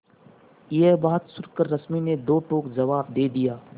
यह बात सुनकर रश्मि ने दो टूक जवाब दे दिया